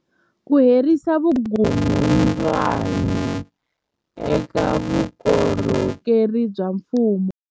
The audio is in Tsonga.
Ku herisa vukungundwani eka vukorhokeri bya mfumo